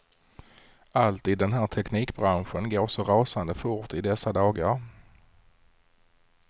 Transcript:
Allt i den här teknikbranschen går så rasande fort i dessa dagar.